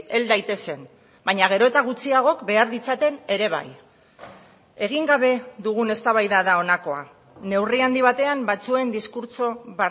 hel daitezen baina gero eta gutxiagok behar ditzaten ere bai egin gabe dugun eztabaida da honakoa neurri handi batean batzuen diskurtso